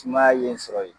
Sumaya ye sɔrɔ yen